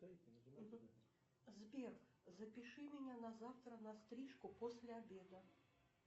сбер запиши меня на завтра на стрижку после обеда